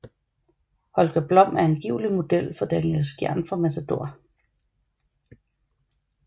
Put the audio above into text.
Holger Blom er angiveligt model for Daniel Skjern fra Matador